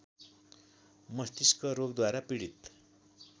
मष्तिस्क रोगद्वारा पीडित